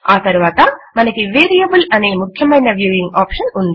ఆ తరువాత మనకి వేరియబుల్ అనే ముఖ్యమైన వ్యూయింగ్ ఆప్షన్ ఉంది